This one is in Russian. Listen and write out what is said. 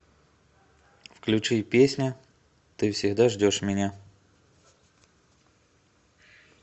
включи песня ты всегда ждешь меня